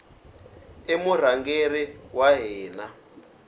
i murhangeri wa hina